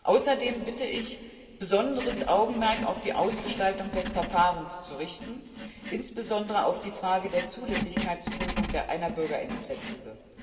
Außerdem bitte ich, besonderes Augenmerk auf die Ausgestaltung des Verfahrens zu richten, insbesondere auf die Frage der Zulässigkeitsprüfung einer Bürgerinitiative.